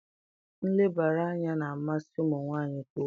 Nlebara anya na-amasị ụmụ nwanyị nke ukwuu